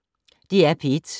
DR P1